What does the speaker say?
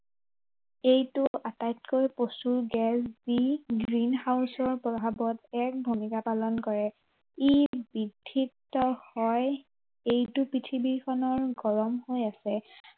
এইটো আটাইতকৈ প্ৰচুৰ গেছ, যি green house ৰ প্ৰভাৱত এক ভূমিকা পালন কৰে। ই বিধিত হয়, এইটো পৃথিৱীখনৰ গৰম হৈ আছে।